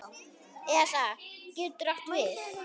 ESA getur átt við